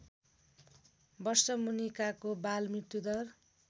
वर्षमुनिकाको बाल मृत्युदर